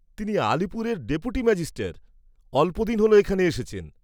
তিনি আলিপুরের ডিপুটিম্যাজিষ্টর, অল্পদিন হ'ল এখানে এসেছেন।